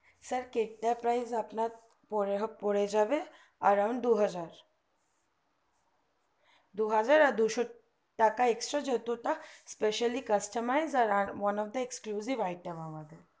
sir cake টা price আপনার পনেরো পরে যাবে around দুহাজার আর দুহাজার দুশো টাকা extra যেহেতু specially customized আর one of exclusive it me আমাদের